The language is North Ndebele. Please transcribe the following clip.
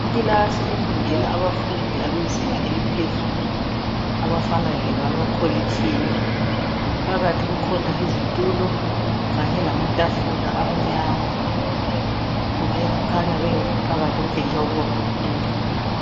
Ikilasi efundela abafundi abezinga eliphezulu abafana lebamakolitshini .Phakathi kukhona izitulo kanye lamatafula amnyama. Kukhanya bengekho phakathi okutshengisa ukuba baphumile.